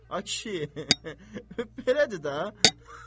Ay kişi, belədir də.